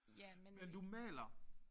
Ja men det